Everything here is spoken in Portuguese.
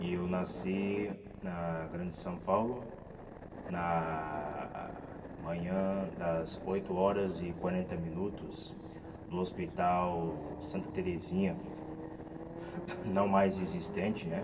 E eu nasci na Grande São Paulo, na manhã das oito horas e quarenta minutos do Hospital Santa Teresinha, não mais existente, né?